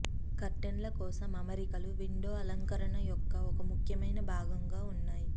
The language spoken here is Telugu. కర్టెన్లు కోసం అమరికలు విండో అలంకరణ యొక్క ఒక ముఖ్యమైన భాగంగా ఉన్నాయి